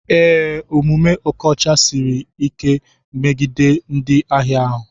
Ee, omume okocha Siri like megide ndị ahịa ya.